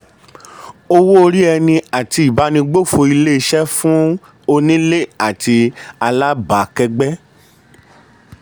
owó orí ẹni àti ìbánigbófò ilé-iṣẹ́ fún onílé àti alábàákẹ́gbẹ́.